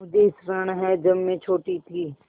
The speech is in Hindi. मुझे स्मरण है जब मैं छोटी थी